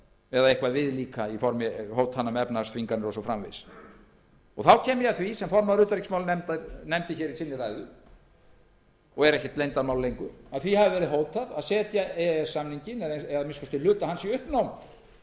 eða eitthvað viðlíka í formi hótana um efnahagsþvinganir og svo framvegis þá kem ég að því sem formaður utanríkismálanefndar nefndi hér í ræðu sinni og er ekkert leyndarmál lengur að því hafi verið hótað að setja e e s samninginn eða að minnsta kosti hluta hans í